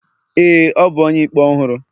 ee, ọ bu onye-ikpe ọhụrụ.